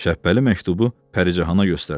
Şəhbəli məktubu Pəricanana göstərdi.